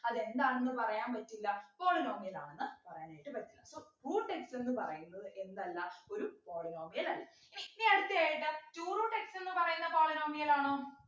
അതെന്താണെന്ന് പറയാൻ പറ്റില polynomial ആണെന്ന് പറയാനായിട്ട് പറ്റില്ല so root x ന്നു പറയുന്നത് എന്തല്ല ഒരു polynomial അല്ല ഇനി അടുത്ത ആയിട്ട് two root x ന്നു പറയുന്ന polynomial ആണോ